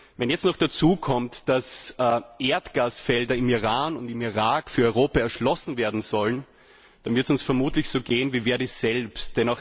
Wenn jetzt noch dazukommt, dass Erdgasfelder im Iran und im Irak für Europa erschlossen werden sollen, dann wird es uns vermutlich so ergehen wie Verdi selbst.